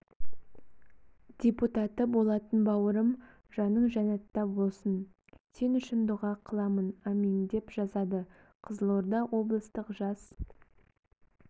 депутаты болатын бауырым жаның жәннатта болсын сен үшін дұға қыламынамин деп жазады қызылорда облыстық жас